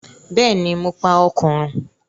Bẹ́ẹ̀ni, mo pa Òkùnrùn.